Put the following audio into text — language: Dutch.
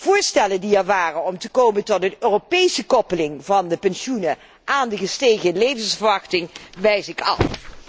Voorstellen die er waren om te komen tot een Europese koppeling van de pensioenen aan de gestegen levensverwachting, wijs ik af.